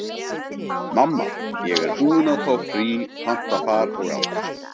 Mamma, ég er búin að fá frí, panta far og allt.